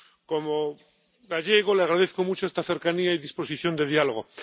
Como gallego le agradezco mucho esta cercanía y disposición de diálogo.